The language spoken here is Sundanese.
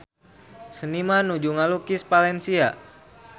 Seniman nuju ngalukis Valencia